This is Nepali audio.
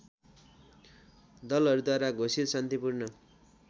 दलहरूद्वारा घोषित शान्तिपूर्ण